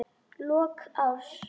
Lok árs.